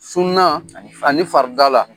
Sunan ani farida la